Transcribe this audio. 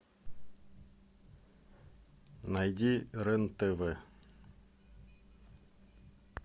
найди рен тв